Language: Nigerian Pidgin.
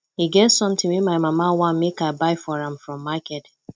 e get something wey my mama want make i buy for am from market